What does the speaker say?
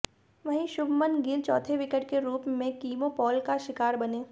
वहीं शुभमन गिल चाैथे विकेट के रूप में किमो पाॅल का शिकार बने